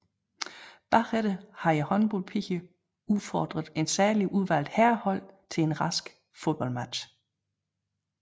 Bagefter havde håndholdpigerne udfordret et særligt udvalgt herrehold til en rask fodboldmatch